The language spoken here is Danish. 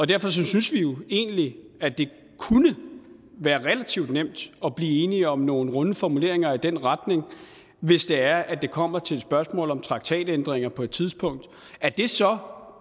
derfor synes vi egentlig at det kunne være relativt nemt at blive enig om nogle runde formuleringer i den retning hvis det er at det kommer til et spørgsmål om traktatændringer på et tidspunkt og at det så